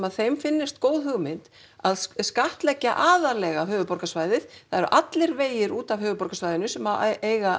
þeim finnist góð hugmynd að skattleggja aðallega höfuðborgarsvæðið það eru allir vegir út frá höfuðborgarsvæðinu sem eiga